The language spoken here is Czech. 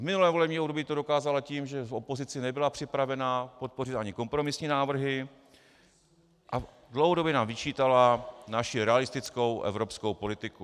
V minulém volebním období to dokázala tím, že v opozici nebyla připravena podpořit ani kompromisní návrhy a dlouhodobě nám vyčítala naši realistickou evropskou politiku.